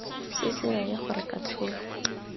se se raya gore katlholo